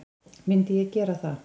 Myndi ég gera það?